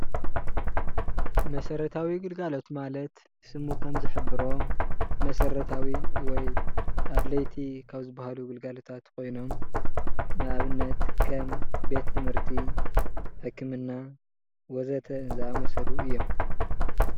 መሰራተዊ ግልጋሎት ማለት ስሙ ከም ዝሕብሮ መሰረታዊ ወይ ኣድለይቲ ካብ ዝባሃሉ ግልጋሎታት ኾይኖም ንኣብነት ከም ቤት ትምህርቲ፣ ሕክምና ወዘተ ዝኣመሰሉ እዮም፡፡